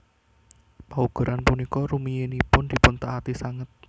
Paugeran punika rumiyinipun dipuntaati sanget